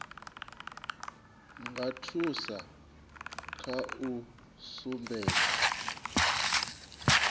nga thusa kha u sumbedza